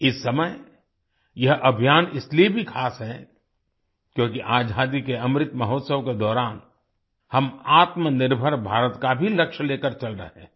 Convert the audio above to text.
इस समय यह अभियान इसलिए भी ख़ास है क्योंकि आजादी के अमृत महोत्सव के दौरान हम आत्मनिर्भर भारत का भी लक्ष्य लेकर चल रहे हैं